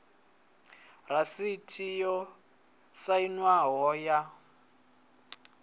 ya rasiti yo sainwaho ya